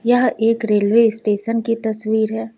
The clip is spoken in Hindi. यह एक रेलवे स्टेशन की तस्वीर है।